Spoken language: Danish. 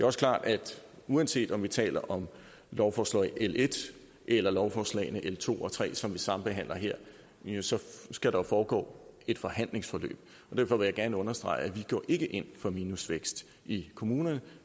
også klart at uanset om vi taler om lovforslag l en eller lovforslagene l to og tre som vi sambehandler her så skal der foregå et forhandlingsforløb og derfor vil jeg gerne understrege at vi ikke går ind for minusvækst i kommunerne